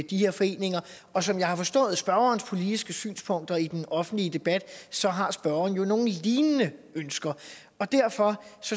de her foreninger og som jeg har forstået spørgerens politiske synspunkter i den offentlige debat så har spørgeren jo nogle lignende ønsker derfor